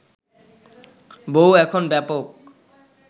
বউ এখন ব্যাপক